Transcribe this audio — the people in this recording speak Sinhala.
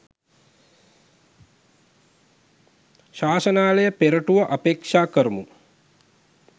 ශාසනාලය පෙරටුව අපේක්ෂා කරමු.